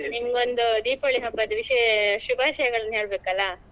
ನಿಮ್ಗೊಂದು ದೀಪಾವಳಿ ಹಬ್ಬದ್ದು ವಿಶೇಷ ಶುಬಾಶಯಗಳನ್ನು ಹೇಳ್ಬೇಕಲ್ಲಾ.